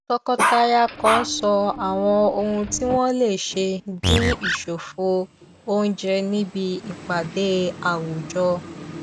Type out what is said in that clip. tọkọtaya kan sọ àwọn ohun tí wọn lè ṣe dìn ìṣòfò oúnjẹ níbi ìpàdé àwùjọ